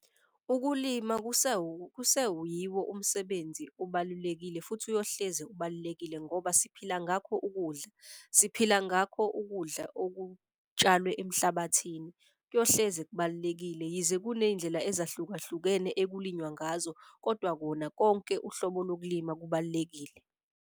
Ukulima kuseyiwo umsebenzi obalulekile futhi uyohleze ubalulekile ngoba siphila ngakho ukudla. Siphila ngakho ukudla okutshalwe emhlabathini. Kuyohleze kubalulekile yize kuney'ndlela ezahlukahlukene ekulinywa ngazo, kodwa kona konke uhlobo lokulima kubalulekile.